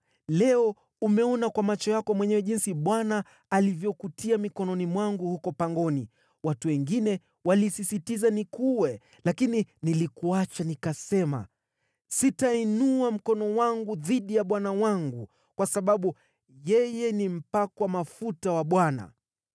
Leo umeona kwa macho yako mwenyewe jinsi Bwana alivyokutia mikononi mwangu huko pangoni. Watu wengine walisisitiza nikuue, lakini nilikuacha, nikisema, ‘Sitainua mkono wangu dhidi ya bwana wangu, kwa sababu yeye ni mpakwa mafuta wa Bwana .’